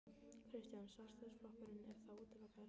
Kristján: Sjálfstæðisflokkurinn er þá útilokaður?